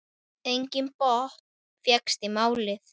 Enginn botn fékkst í málið.